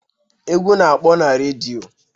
Egwu na-akpọ na redio.